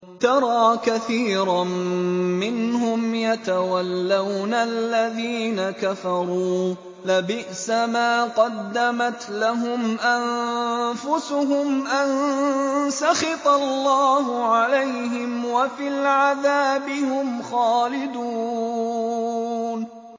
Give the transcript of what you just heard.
تَرَىٰ كَثِيرًا مِّنْهُمْ يَتَوَلَّوْنَ الَّذِينَ كَفَرُوا ۚ لَبِئْسَ مَا قَدَّمَتْ لَهُمْ أَنفُسُهُمْ أَن سَخِطَ اللَّهُ عَلَيْهِمْ وَفِي الْعَذَابِ هُمْ خَالِدُونَ